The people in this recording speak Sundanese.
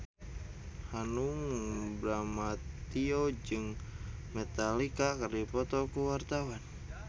Hanung Bramantyo jeung Metallica keur dipoto ku wartawan